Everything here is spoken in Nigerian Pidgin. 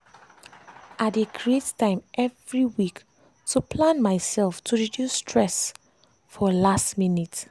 i dey create time every week to plan myself myself to reduce stress for last minute.